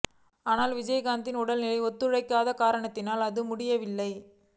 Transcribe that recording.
ஆனால் விஜயகாந்தின் உடல் நிலை ஒத்துழைக்காத காரணத்தினால் அது முடியவில்லை